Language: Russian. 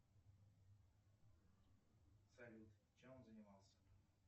салют чем он занимался